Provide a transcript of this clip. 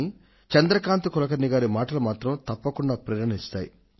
కానీ చంద్రకాంత్ కులకర్ణి గారి మాటలు మాత్రం తప్పకుండా ప్రేరణనిస్తాయి